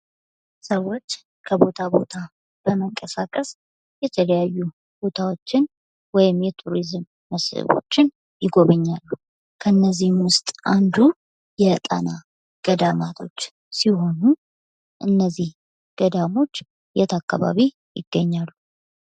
ሰወች ከቦታ ቦታ በመንቀሳቀስ የተለያዩ ቦታወችን ወይም የቱሪዝም መስህቦችን ይጎበኛሉ። ከእነዚህም ውስጥ አንዱ የጣና ገዳማቶች ሲሆኑ እነዚህ ገዳሞች የት አካባቢ ይገኛሉ?